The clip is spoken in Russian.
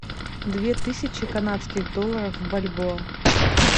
две тысячи канадских долларов в бальбоа